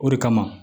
O de kama